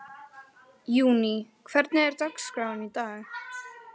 Júní, hvernig er dagskráin í dag?